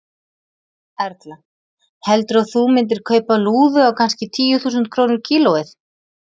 Erla: Heldurðu að þú myndir kaupa lúðu á kannski tíu þúsund krónur kílóið?